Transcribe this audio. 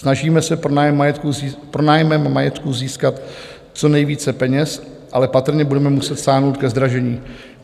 Snažíme se pronájmem majetku získat co nejvíce peněz, ale patrně budeme muset sáhnout ke zdražení.